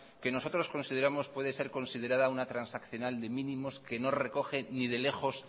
que nosotros consideramos puede ser considerada una transaccional de mínimos que no recoge ni de lejos